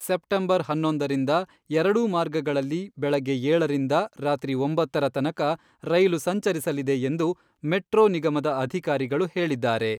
September ಹನ್ನೊಂದರಿಂದ ಎರಡೂ ಮಾರ್ಗಗಳಲ್ಲಿ ಬೆಳಗ್ಗೆ ಏಳರಿಂದ ರಾತ್ರಿ ಒಂಬತ್ತರ ತನಕ ರೈಲು ಸಂಚರಿಸಲಿದೆ ಎಂದು ಮೆಟ್ರೋ ನಿಗಮದ ಅಧಿಕಾರಿಗಳು ಹೇಳಿದ್ದಾರೆ.